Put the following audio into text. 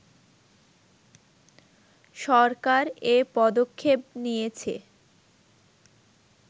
সরকার এ পদক্ষেপ নিয়েছে